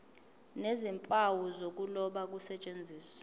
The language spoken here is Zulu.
nezimpawu zokuloba kusetshenziswe